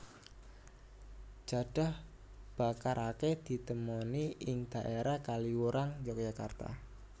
Jadah bakar akèh ditemoni ing dhaérah Kaliurang Yogyakarta